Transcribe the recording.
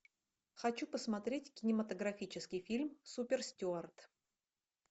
хочу посмотреть кинематографический фильм супер стюарт